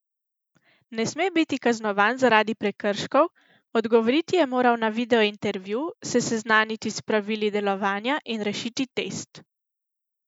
Ne sme biti kaznovan zaradi prekrškov, odgovoriti je moral na videointervju, se seznaniti s pravili delovanja in rešiti test.